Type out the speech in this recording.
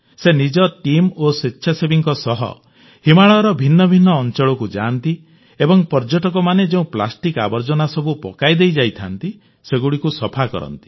ସେ ନିଜ ଟିମ ଓ ସ୍ୱେଚ୍ଛାସେବୀଙ୍କ ସହ ହିମାଳୟର ଭିନ୍ନଭିନ୍ନ ଅଂଚଳକୁ ଯାଆନ୍ତି ଏବଂ ପର୍ଯ୍ୟଟକମାନେ ଯେଉଁ ପ୍ଲାଷ୍ଟିକ୍ ଆବର୍ଜନାସବୁ ପକାଇଦେଇ ଯାଇଥାନ୍ତି ସେଗୁଡ଼ିକୁ ସଫା କରନ୍ତି